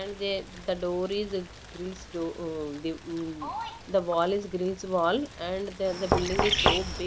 And they the door is grills doo ah mm the wall is grills wall and there the building is so big.